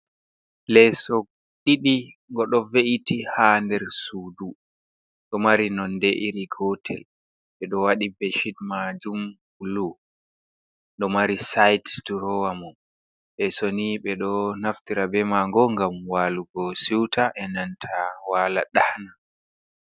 Leeso ɗiɗi go ɗo ve’iti ha ɗer suɗu. Ɗo mari nonɗe iri gotel be ɗo waɗi beshiɗ majum bulu. Ɗo mari saite ɗurowa mom. Lesoni be do naftira be mago ngam walugo seuta e nanta wala ɗana.